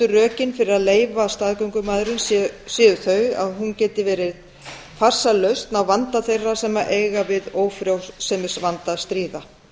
rökin fyrir að leyfa staðgöngumæðrun séu þau að hún geti verið farsæl lausn á vanda þeirra sem eiga við ófrjósemisvanda að stríða